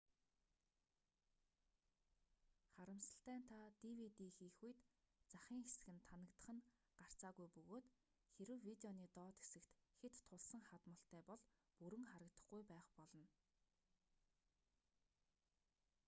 харамсалтай нь та dvd хийх үед захын хэсэг нь танагдах нь гарцаагүй бөгөөд хэрэв видеоны доод хэсэгт хэт тулсан хадмалтай бол бүрэн харагдахгүй байх болно